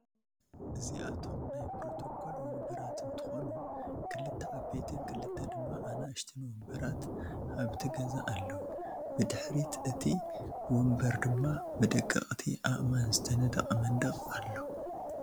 እዚአቶም ናይ ፕሮቶኮል ወምበራት እንትኮኑ ክልተ ዓበይትን ክልተ ድማ አናኡሽቲን ወምበራት አብቲ ገዛ አለዉ። ብድሕሪ እቲ ወምበር ድማ ብደቀቅቲ አእማን ዝተነደቀ መንደቅ አሎ።